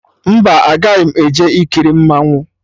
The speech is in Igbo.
Mba, agaghị m eje ikiri mmanwụ